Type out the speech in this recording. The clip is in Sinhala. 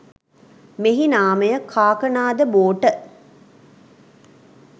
මෙහි නාමය කාකනාද බෝට